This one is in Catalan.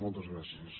moltes gràcies